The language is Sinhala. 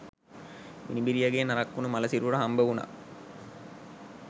මිනිබිරියගේ නරක් වුණු මළ සිරුර හම්බ වුණා